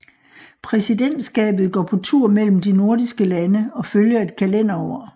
Præsidentskabet går på tur mellem de nordiske lande og følger et kalenderår